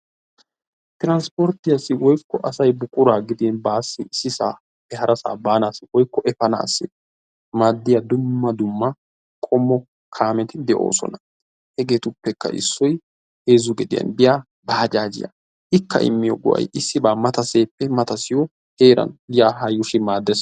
Tiranspporttiyassi woykko asay buqura gidin basi isisisappe harasa banasi woykko efansi maadiya dumma dumma qommo kaameti deosona. Hegeetuppeka issoy heezzu gediyan biya bajjaajiya; ikka immiyo go'ay issiba matasaappe matasiyo heeran ya ha yushi maaddees.